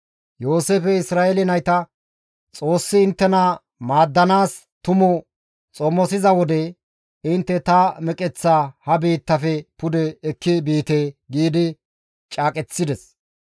Yooseefey Isra7eele nayta, «Xoossi inttena maaddanaas tumu xomosiza wode, intte ta meqeththa ha biittafe pude ekki biite» giidi caaqechides.